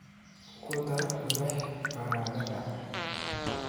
Ku dar milix baradhada.